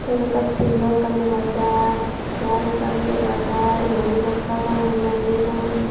tey yot ikka tibul o ekkan dega jai cear ekkan dega jai uguridi poster tangeyondey indiyo tangeyon.